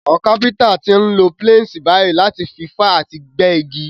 Àwon carpenter ti n lo planes bàyí láti fi fá àti gbẹ́ igi